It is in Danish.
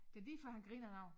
Det lige før han griner også